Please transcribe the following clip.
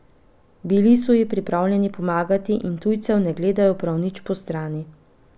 Bili so ji pripravljeni pomagati in tujcev ne gledajo prav nič postrani.